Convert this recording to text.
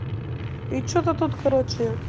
и что-то тут короче